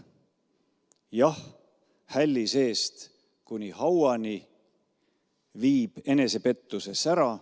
Jah, hälli seest kuni hauani viib enesepettuse sära.